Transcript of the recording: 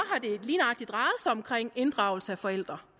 om inddragelse af forældre